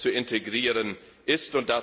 zu integrieren ist.